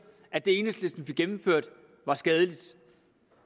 at det enhedslisten fik gennemført er skadeligt